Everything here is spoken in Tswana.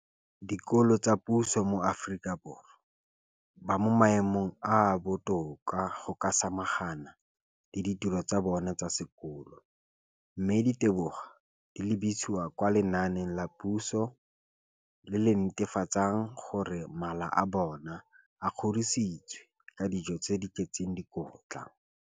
dikolo tsa puso mo Aforika Borwa ba mo maemong a a botoka a go ka samagana le ditiro tsa bona tsa sekolo, mme ditebogo di lebisiwa kwa lenaaneng la puso le le netefatsang gore mala a bona a kgorisitswe ka dijo tse di tletseng dikotla.